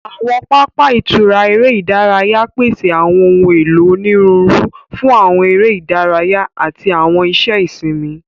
Awọn papa itura ere idaraya pese awọn ohun elo oniruuru fun awọn ere idaraya ati awọn iṣẹ isinmi.